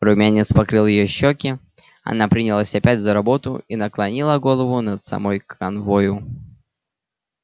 румянец покрыл её щёки она принялась опять за работу и наклонила голову над самой канвою